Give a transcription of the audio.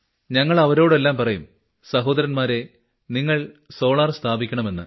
ഞങ്ങൾ അവരോടെല്ലാം പറയും സഹോദരന്മാരെ തങ്കൾ സോളാർ സ്ഥാപിക്കണമെന്ന്